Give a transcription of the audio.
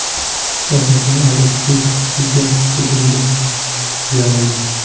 Hozirda Aleksey hushsiz yotibdi”, deydi Yarmish.